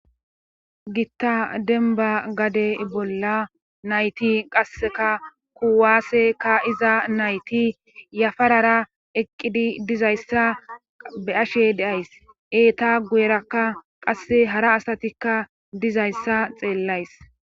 gitta denba gade bolla nayti qasseka kuwaaseka iza nayti yafarara eqqidi dizayssa be ashe deays eeta guyerakka qasse hara asatikka dizayssa xeellays